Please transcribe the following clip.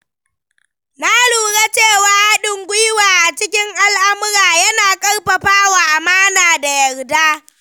Na lura cewa haɗin gwiwa a cikin al’amura yana ƙarfafa amana da yarda.